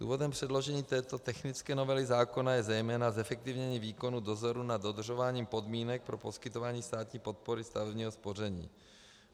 Důvodem předložení této technické novely zákona je zejména zefektivnění výkonu dozoru nad dodržováním podmínek pro poskytování státní podpory stavebního spoření.